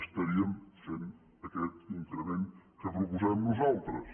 estaríem fent aquest increment que proposem nosaltres